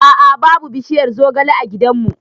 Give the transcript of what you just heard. A'a' babu bishiyar zogale a gidan mu